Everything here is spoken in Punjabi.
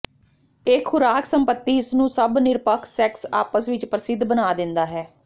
ਇਹ ਖ਼ੁਰਾਕ ਸੰਪਤੀ ਇਸ ਨੂੰ ਸਭ ਨਿਰਪੱਖ ਸੈਕਸ ਆਪਸ ਵਿੱਚ ਪ੍ਰਸਿੱਧ ਬਣਾ ਦਿੰਦਾ ਹੈ